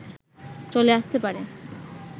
চলে আসতে পারে